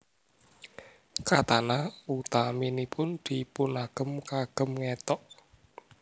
Katana utaminipun dipunagem kagem ngethok